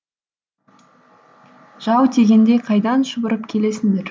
жау тигендей қайдан шұбырып келесіңдер